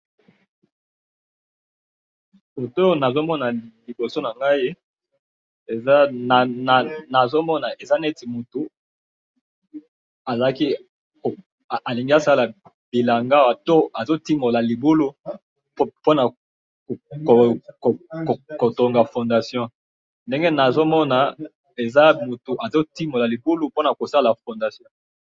Photo oyo nazo mona liboso na ngai, eza nazo mona eza neti mutu azalaki, alingi asala bilanga awa to azo timbola libulu pona ko tonga fondation ndenge nazo mona eza mutu azo timbola libulu pona kosala fondation